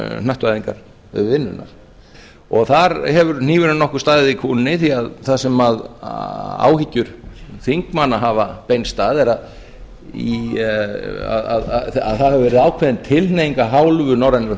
hnattvæðingar við vinnuna og þar hefur hnífurinn nokkuð staðið í kúnni því þar sem áhyggjur þingmanna hafa beinst að þar hefur verið ákveðin tilhneiging af hálfu norrænu